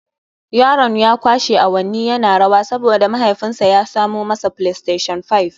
Yaron ya kwashe awanni yana rawa saboda mahaifinsa ya samo masa Playstation Five